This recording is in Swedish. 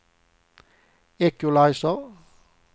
equalizer